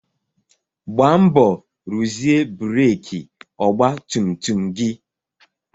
Gbaa mbọ ruzie breki ọgba tum tum gị!